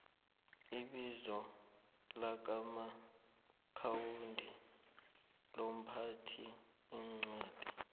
ibizo lakasomaakhawundi lomphathiincwadi